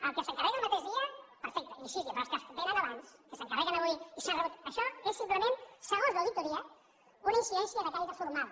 el que s’encarrega el mateix perfecte i sis dies però els que vénen abans que s’encarreguen avui i ja s’han rebut això és simplement segons l’auditoria una incidència de caire formal